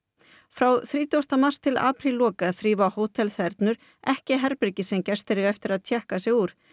frá þrítugasta mars til aprílloka þrífa ekki herbergi sem gestir eiga eftir að tékka sig úr